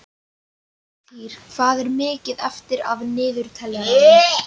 Sigtýr, hvað er mikið eftir af niðurteljaranum?